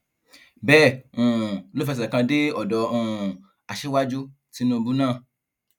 bẹẹ um ló fẹsẹ kan dé ọdọ um aṣíwájú tìǹubù náà